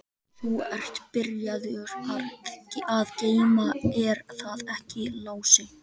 Þú ert byrjaður að geyma, er það ekki Lási?